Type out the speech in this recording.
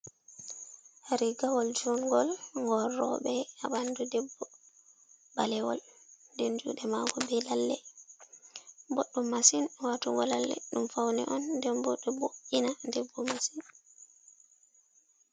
Ririgawol juuɗngol ngol rooɓo, haa ɓanndu debbo balewol nden juuɗe maako bee lalle, boɗɗum masin waatugo lalle ɗum fawne on nden boo ɗo wo'’ina debbo masin.